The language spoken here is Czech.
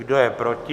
Kdo je proti?